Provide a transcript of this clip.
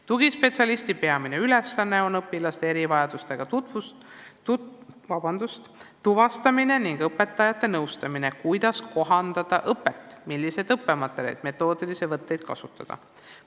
Tugispetsialisti peamine ülesanne on õpilaste erivajaduste tuvastamine ning õpetajate nõustamine, kuidas kohandada õpet, milliseid õppematerjale ja metoodilisi võtteid kasutada.